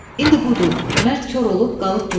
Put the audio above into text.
İndi budur, mərd kor olub qalıb burda.